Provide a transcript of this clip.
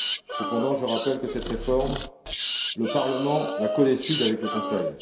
Cependant, je rappelle que cette réforme, le Parlement la codécide avec le Conseil.